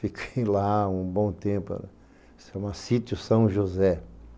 Fiquei lá um bom tempo, chama sítio São José.